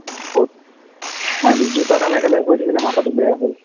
i mean দটা কাম একেলগে কৰি থাকিলে মাথাটো বেয়া হয়।